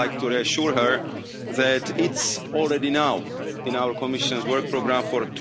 I would like to reassure her that it's already in our Commission's Work Programme for